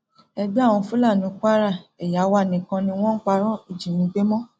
ẹgbẹ àwọn fúlàní kwara ẹyà wa nìkan ni wọn ń parọ ìjínigbé mọ o